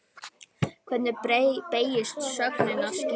Hvernig beygist sögnin að skína?